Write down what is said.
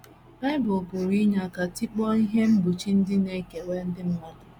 Bible pụrụ inye aka tikpọọ ihe mgbochi ndị na - ekewa ndị mmadụ